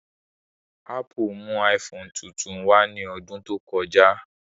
Ápù mú iPhone tuntun wá ní ọdún tó kọjá